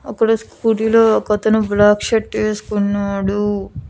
అక్కడ స్కూటీలో ఒక అతను బ్లాక్ షర్ట్ వేసుకున్నాడు.